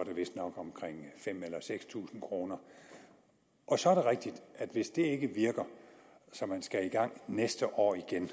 er det vist omkring fem tusind seks tusind kroner og så er det rigtigt at hvis det ikke virker så man skal i gang næste år igen